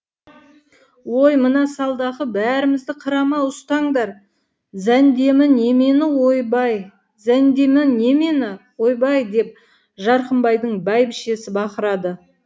ой мына салдақы бәрімізді қыра ма ұстаңдар зәндемі немені ойбай зәндемі немені ойбай деп жарқымбайдың бәйбішесі бақырады